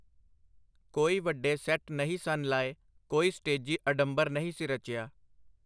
ਕੋਈ ਵੱਡੇ ਸੈੱਟ ਨਹੀਂ ਸਨ ਲਾਏ, ਕੋਈ ਸਟੇਜੀ ਅਡੰਬਰ ਨਹੀਂ ਸੀ ਰਚਿਆ.